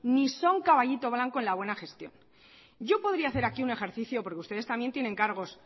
ni son caballito blanco en la buena gestión yo podría hacer aquí un ejercicio porque ustedes también tienen cargos